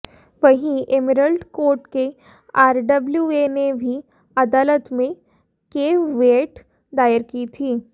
वहीं Emerald Court के RWA ने भी अदालत में कैविएट दायर की थी